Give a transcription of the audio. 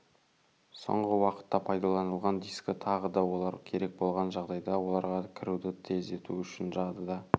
соңғы уақытта пайдаланылған дискі тағы да олар керек болған жағдайда оларға кіруді тездету үшін жадыда